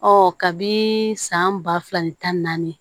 Ɔ kabi san ba fila ni tan ni naani